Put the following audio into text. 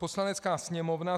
Poslanecká sněmovna